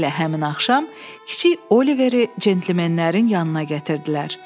Elə həmin axşam, kiçik Oliveri cəntləmənlərin yanına gətirdilər.